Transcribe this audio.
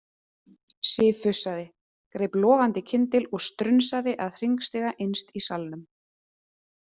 Sif fussaði, greip logandi kyndil og strunsaði að hringstiga innst í salnum.